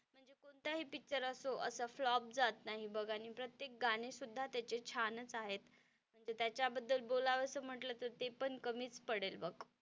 कोणताही पिक्चर असो असा फ्लॉप जात नाही बघ आणि प्रत्येक गाणे सुद्धा त्याचे छानच आहेत म्हणजे त्याच्याबद्दल बोलावंसं म्हंटल तर ते पण कमीच पडेल बघ.